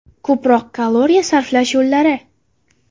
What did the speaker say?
Ko‘proq kaloriya sarflash yo‘llari.